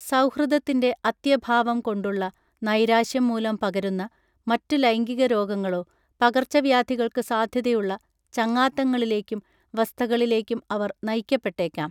സൗഹൃദത്തിൻ്റെ അത്യഭാവം കൊണ്ടുള്ള നൈരാശ്യം മൂലം പകരുന്ന മറ്റു ലൈംഗികരോഗങ്ങളോ പകർച്ച വ്യാധികൾക്ക് സാധ്യതയുള്ള ചങ്ങാത്തങ്ങളിലേയ്ക്കും വസ്ഥകളിലേയ്ക്കും അവർ നയിക്കപ്പെട്ടേയ്ക്കാം